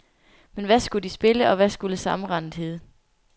Men hvad skulle de spille, og hvad skulle sammenrendet hedde?